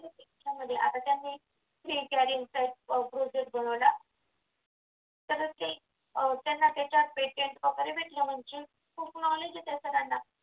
त्यांना त्यांच्या पेटत वगैरे भेटला खूप knowledge आहे त्या सरांना